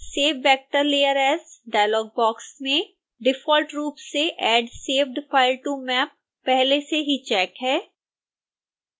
save vector layer as dialogue box में default रूप से add saved file to map पहले से ही चेक है